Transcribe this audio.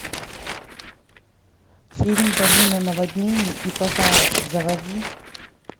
фильм долина наводнений и пожаров заводи